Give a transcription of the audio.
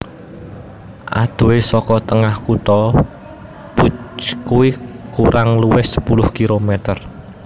Adohé saka tengah kutha Phu Quoc kurang luwih sepuluh kilometer